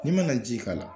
N'i ma na ji k'a la